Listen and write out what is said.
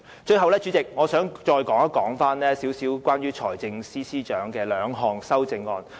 主席，最後，我想再談談財政司司長提出的兩項修正案。